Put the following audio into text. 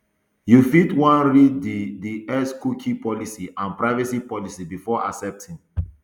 you fit wan read di di xcookie policyandprivacy policybefore accepting